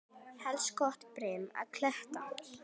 Helst gott brim og kletta.